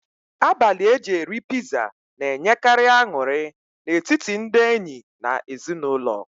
Abalị eji eri piza na-enyekari aṅụrị n'etiti ndị enyi na ezinụlọ